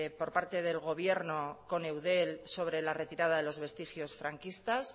por parte del gobierno con eudel sobre la retirada de los vestigios fascistas